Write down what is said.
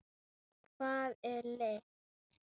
Hvað er lykt?